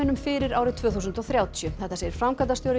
fyrir árið tvö þúsund og þrjátíu þetta segir framkvæmdastjóri